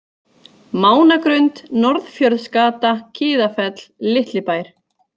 Mánagrund, Norðfjörðsgata, Kiðafell, Litli Bær